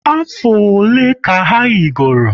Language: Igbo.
Afọ ole ka ha yigoro?